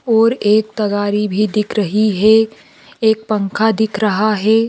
और एक तगारी भी दिख रही है एक पंखा दिख रहा है।